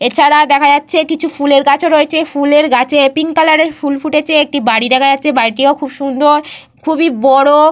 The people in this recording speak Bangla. এছাড়া দেখা যাচ্ছে কিছু ফুলের গাছ ও রয়েছে। ফুলের গাছে পিঙ্ক কালারের ফুল ফুটেছে। একটি বাড়ি দেখা যাচ্ছে। বাড়িটিও খুব সুন্দর খুবই বড়।